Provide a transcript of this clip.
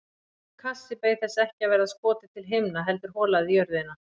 Hvítur kassi beið þess ekki að verða skotið til himna heldur holað í jörðina.